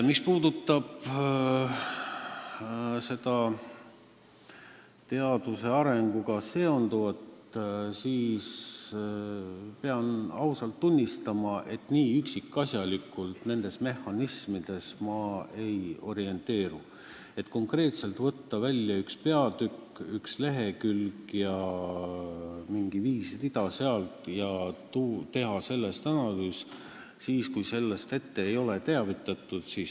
Mis puudutab teaduse arenguga seonduvat, siis pean ausalt tunnistama, et nii üksikasjalikult ma nendes mehhanismides ei orienteeru, et konkreetselt võtta välja üks peatükk, üks lehekülg ja sealt mingi viis rida ning teha sellel teemal analüüs, kui sellest ei ole mind varem teavitatud.